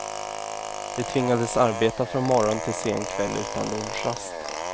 De tvingades arbeta från morgon till sen kväll utan lunchrast.